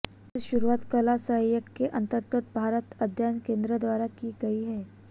इसकी शुरुआत कला संकाय के अंतर्गत भारत अध्ययन केंद्र द्वारा की गई है